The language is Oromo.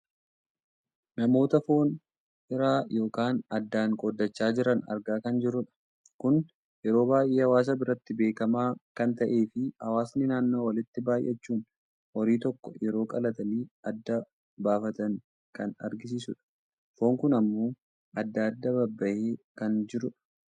namoota foon hiraa yookaan addaan qooddachaa jiran argaa kan jirrudha. kun yeroo baayyee hawaasa biratti beekkamaa kan ta'eefi hawaasni naannoo walitti baayyachuun horii tokko yeroo qalatanii addaan baafatan kan agarsiisudha. foon kun ammoo adda adda babbahee kan jirudha.